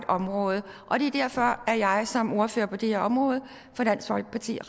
område og det er derfor at jeg som ordfører på det her område